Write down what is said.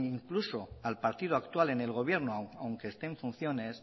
ni incluso al partido actual en el gobierno aunque esté en funciones